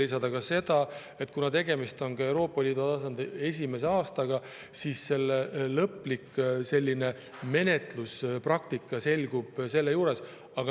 Aga tuleb juurde lisada, et kuna tegemist on Euroopa Liidu tasandil esimese aastaga, siis lõplik menetluspraktika alles selgub.